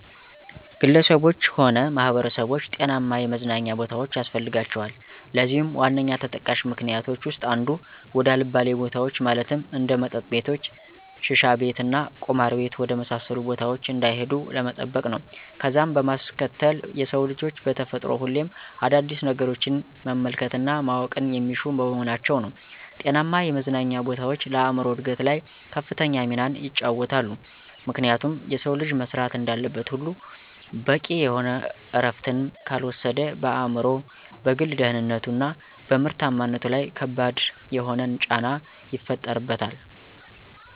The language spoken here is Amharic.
ግለሰቦች ሆነ ማህበረሰቦች ጤናማ የመዝናኛ ቦታዎች ያስፈልጋቸዋል። ለዚህም ዋነኛ ተጠቃሽ ምክኒያቶች ዉስጥ አንዱ፦ ወደ አልባሌ ቦታዎች ማለትም እንደ መጠጥ ቤቶች፣ ሽሻቤት እና ቁማር ቤት ወደ መሳሰሉት ቦታዎች እንዳይሄዱ ለመጠበቅ ነው። ከዛም በማስከተል የሰው ልጆች በተፈጥሮ ሁሌም አዳዲስ ነገሮችን መመልከት እና ማወቅን የሚሹ በመሆናቸው ነው። ጤናማ የመዝናኛ ቦታዎች ለአእምሮ እድገት ላይ ከፍተኛ ሚናን ይጫወታሉ፤ ምክንያቱም የሰው ልጅ መስራት እንዳለበት ሁሉ በቂ የሆነ እረፍትንም ካልወሰደ በአእምሮው፣ በግል ደህንነቱ፣ እና በምርታማነቱ ለይ ከባድ የሆነን ጫና ይፈጥርበታል።